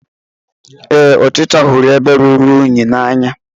Ee, ọchịcha hụrụ ebe rụrụ unyi n'anya.